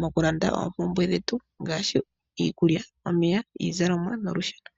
mokulanda oompumbwe dhetu ngaashi iikulya, omeya, iizalomwa nolusheno.